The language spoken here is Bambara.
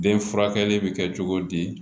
Den furakɛli bɛ kɛ cogo di